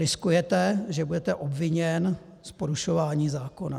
Riskujete, že budete obviněn z porušování zákona.